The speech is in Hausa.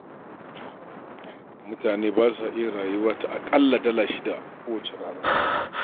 Mutane ba sa iya rayuwa ta aƙalla dala shida a kowace rana